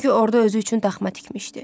Çünki orada özü üçün daxma tikmişdi.